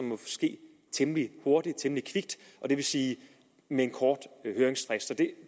må ske temmelig hurtigt temmelig kvikt det vil sige med en kort høringsfrist